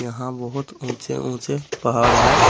यहां बहुत ऊंचे ऊंचे पहाड़ है।